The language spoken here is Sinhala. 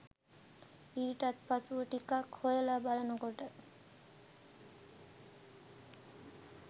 ඊටත් පසුව ටිකක් හොයලා බලනකොට